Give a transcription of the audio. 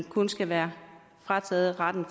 kun skal være frataget retten